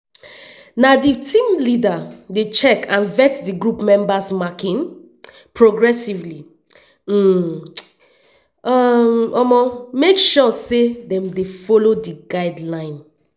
na di team leader dey check and vet di group members marking progressively um to um make sure say dem dey follow di guidelines.